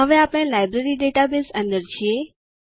હવે આપણે library database અંદર છીએ